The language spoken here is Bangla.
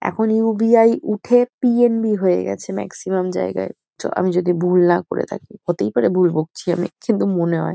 এখন ইউ .বি .আই. উঠে পি .এন .বি হয়ে গেছে ম্যাক্সিমাম জায়গায়। তো আমি যদি ভুল না করে থাকি। হতেই পারে ভুল বকছি আমি। কিন্তু মনে হয়।